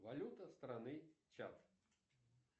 валюта страны чад